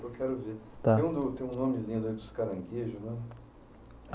Eu quero ver. Tem um nome lindo antes dos caranguejos, né.